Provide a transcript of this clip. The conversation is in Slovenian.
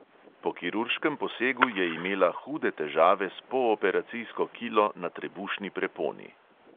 Po kirurškem posegu je imela hude težave s pooperacijsko kilo na trebušni preponi.